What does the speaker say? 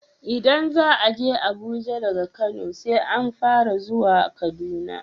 Idan za aje Abuja daga Kano, sai an fara zuwa Kaduna.